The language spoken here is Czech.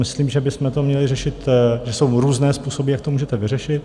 Myslím, že bychom to měli řešit... že jsou různé způsoby, jak to můžete vyřešit.